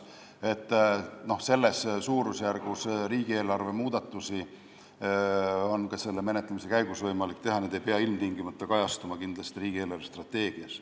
Selles suurusjärgus riigieelarve muudatusi on ka menetlemise käigus võimalik teha, need ei pea ilmtingimata kajastuma riigi eelarvestrateegias.